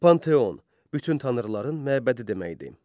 Panteon, bütün tanrıların məbədi deməkdir.